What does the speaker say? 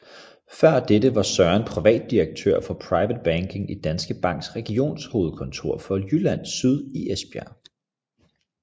Før dette var Søren privatdirektør for Private Banking i Danske Banks regionshovedkontor for Jylland Syd i Esbjerg